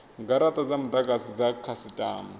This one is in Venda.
garata dza mudagasi dza dzikhasitama